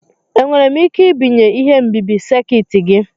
Enwere m ike ibinye ihe nbibi sekit gị?